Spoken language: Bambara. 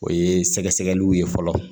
O ye sɛgɛsɛgɛliw ye fɔlɔ